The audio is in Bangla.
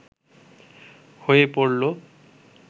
হয়ে পড়ল